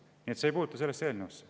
Nii et see ei puutu sellesse eelnõusse.